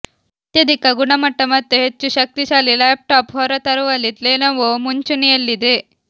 ಅತ್ಯಧಿಕ ಗುಣಮಟ್ಟ ಮತ್ತು ಹೆಚ್ಚುಶಕ್ತಿಶಾಲಿ ಲ್ಯಾಪ್ ಟಾಪ್ ಹೊರತರುವಲ್ಲಿ ಲೆನೊವು ಮುಂಚೂಣಿಯಲ್ಲಿದೆ